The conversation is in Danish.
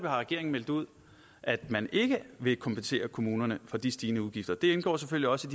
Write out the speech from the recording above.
har regeringen meldt ud at man ikke vil kompensere kommunerne for de stigende udgifter det indgår selvfølgelig også